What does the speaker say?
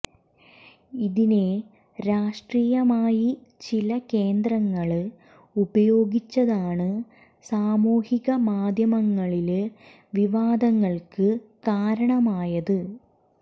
ഇതിനെ രാഷ്ട്രീയമായി ചില കേന്ദ്രങ്ങള് ഉപയോഗിച്ചതാണ് സാമൂഹിക മാധ്യമങ്ങളില് വിവാദങ്ങള്ക്ക് കാരണമായത്